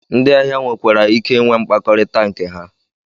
Ndị ahịa nwekwara ike inwe mkpakọrịta nke ha